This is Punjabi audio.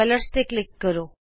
ਰੰਗਾਂ ਤੇ ਕਲਿਕ ਕਰੋ